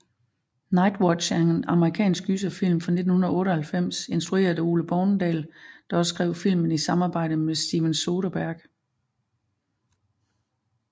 Nightwatch er en amerikansk gyserfilm fra 1998 instrueret af Ole Bornedal der også skrev filmen i samarbejde med Steven Soderbergh